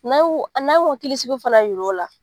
N'an y'u, n'an y'o hakili siki fana yira u la